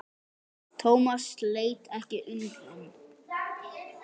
Thomas leit ekki undan.